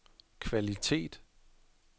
kvalitet